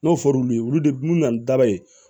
N'o fɔr'u ye olu de bi na ni daba ye